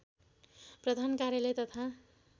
प्रधान कार्यालय तथा